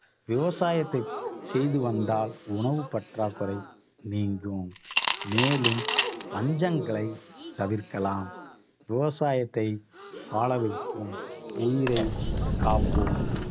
விவசாயத்தை செய்து வந்தால் உணவுப் பற்றாக்குறை நீங்கும். மேலும் பஞ்சங்களைத் தவிர்க்கலாம். விவசாயத்தை வாழ வைப்போம் உயிரைக் காப்போம்